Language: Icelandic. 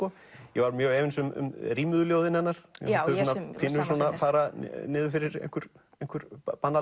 ég var mjög efins um rímuðu ljóðin hennar mér fannst þau pínulítið fara niður fyrir